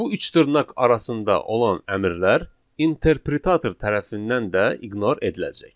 Bu üç dırnaq arasında olan əmrlər interpretator tərəfindən də iqnor ediləcək.